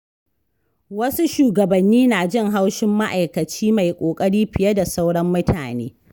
Wasu shugabanni na jin haushin ma’aikaci mai ƙoƙari fiye da sauran mutane.